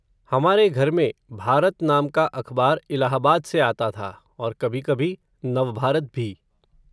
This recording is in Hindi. हमारे घर में, भारत नाम का अखबार, इलाहाबाद से आता था, और कभी कभी, नव भारत भी